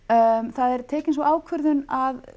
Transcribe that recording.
það er tekin sú ákvörðun að